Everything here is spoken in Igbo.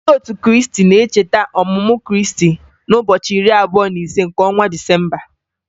Ndị otu Kriisti na-echeta ọmụmụ Kriisti n'ụbọchị iri abụọ na ise nke ọnwa Disemba